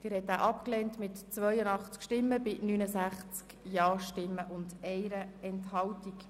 Sie haben diese Planungserklärung abgelehnt mit 82 Nein- gegen 69 Ja-Stimmen bei 1 Enthaltung.